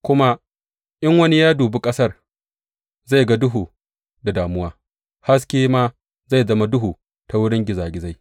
Kuma in wani ya dubi ƙasar, zai ga duhu da damuwa; haske ma zai zama duhu ta wurin gizagizai.